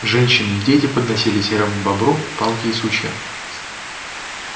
женщины и дети подносили серому бобру палки и сучья